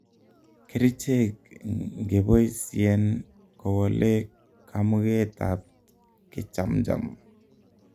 kericheg ngepoisyen kowolee kamuget ab kechamjam